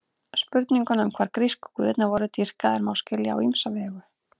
Spurninguna um hvar grísku guðirnir voru dýrkaðir má skilja á ýmsa vegu.